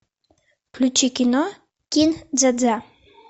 включи кино кин дза дза